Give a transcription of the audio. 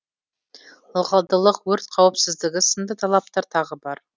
ылғалдылық өрт қауіпсіздігі сынды талаптар тағы бар